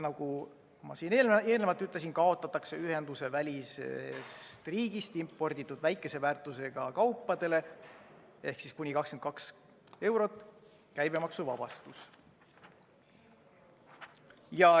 Nagu ma eelnevalt ütlesin, kaotatakse ühendusevälisest riigist imporditud väikese väärtusega kaupade käibemaksuvabastus.